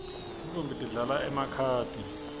tintfombi tidlala emakhadi